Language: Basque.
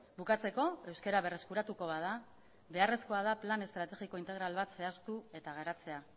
bukatzeko euskara berreskuratuko bada beharrezkoa da plan estrategiko integral bat zehaztu eta garatzea